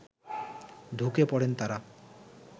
ঢুকে পড়েন তারা